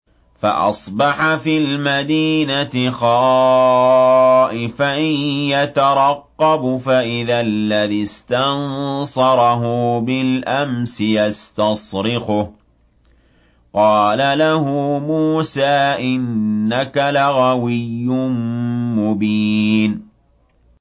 فَأَصْبَحَ فِي الْمَدِينَةِ خَائِفًا يَتَرَقَّبُ فَإِذَا الَّذِي اسْتَنصَرَهُ بِالْأَمْسِ يَسْتَصْرِخُهُ ۚ قَالَ لَهُ مُوسَىٰ إِنَّكَ لَغَوِيٌّ مُّبِينٌ